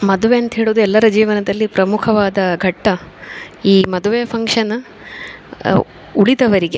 ಮದುವೆ ಅಂತ ಹೇಳೋದು ಎಲ್ಲರ ಜೀವನದಲ್ಲಿ ಪ್ರಮುಖವಾದ ಘಟ್ಟ. ಈ ಮದುವೆ ಫಂಕ್ಷನ್ ಉಳಿದವರಿಗೆ.